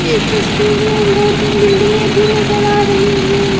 इस तस्वीर में दो-तीन बिल्डिंगे भी नजर आ रही हैं।